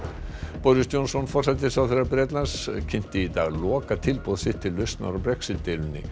boris Johnson forsætisráðherra Bretlands kynnti í dag lokatilboð sitt til lausnar á Brexit deilunni